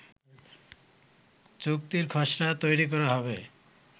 চুক্তির খসড়া তৈরি করা হবে